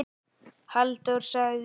Halldór sagði